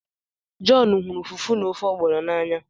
John huru Fufu na ofe Ogbono n'anya